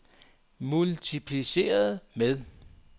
multipliceret med